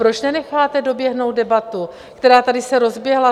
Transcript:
Proč nenecháte doběhnout debatu, která se tady rozběhla?